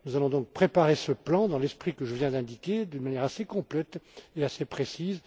Nous allons donc préparer ce plan, dans l'esprit que je viens d'indiquer, d'une manière assez complète et assez précise.